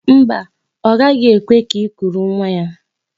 Mba ooo, ọ gaghị ekwekwa ka i kuru nwa ya.